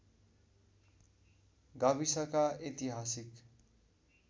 गाविसका ऐतिहासिक